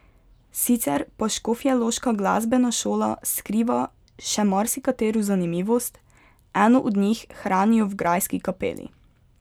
Sicer pa škofjeloška glasbena šola skriva še marsikatero zanimivost, eno od njih hranijo v grajski kapeli.